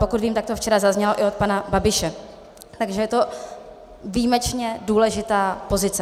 Pokud vím, tak to včera zaznělo i od pana Babiše, takže je to výjimečně důležitá pozice.